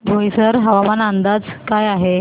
बोईसर हवामान अंदाज काय आहे